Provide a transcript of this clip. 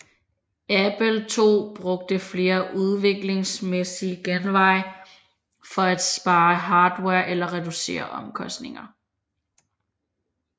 Apple II brugte flere udviklingsmæssige genveje for at spare hardware og reducere omkostninger